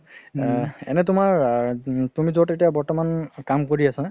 এ এনে তুমাৰ তুমি যত এতিয়া বৰ্তমান কাম কৰি আছা